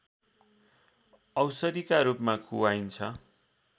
औषधिका रूपमा खुवाइन्छ